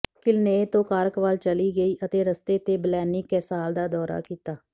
ਕਿਲਨੇਏ ਤੋਂ ਕਾਰਕ ਵੱਲ ਚਲੀ ਗਈ ਅਤੇ ਰਸਤੇ ਤੇ ਬਲੈਨੀ ਕੈਸਾਲ ਦਾ ਦੌਰਾ ਕੀਤਾ